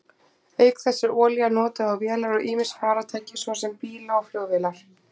Auk þess er olía notuð á vélar og ýmis farartæki, svo sem bíla og flugvélar.